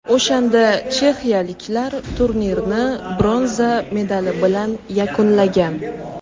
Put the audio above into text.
O‘shanda chexiyaliklar turnirni bronza medali bilan yakunlagan.